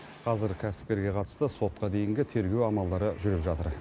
қазір кәсіпкерге қатысты сотқа дейінгі тергеу амалдары жүріп жатыр